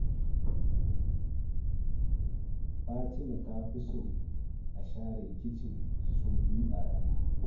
Fatima ta fi so a share kicin sau biyu a rana.